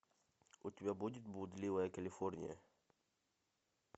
у тебя будет блудливая калифорния